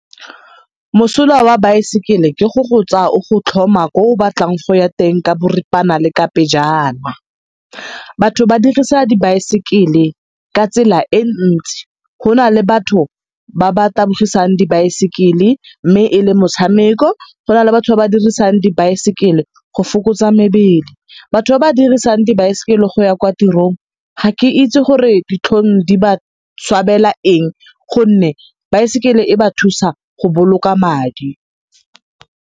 Mosola wa baesekele ke go go tsaya o go tlhoma ko o batlang go ya teng ka boripana le ka pejana. Batho ba dirisa dibaesekele ka tsela e ntsi go na le batho ba ba tabogisang dibaesekele mme e le motshameko. Go na le batho ba ba dirisang dibaesekele go fokotsa mebele. Batho ba ba dirisang dibaesekele go ya kwa tirong ga ke itse gore ditlhong di ba swabela eng gonne baesekele e ba thusa go boloka madi.